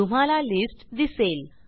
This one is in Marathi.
तुम्हाला लिस्ट दिसेल